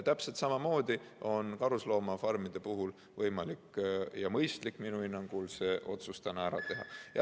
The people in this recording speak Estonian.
Täpselt samamoodi on karusloomafarmide puhul võimalik ja mõistlik minu hinnangul see otsus täna ära teha.